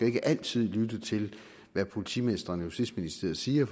ikke altid lytte til hvad politimestrene og justitsministeriet siger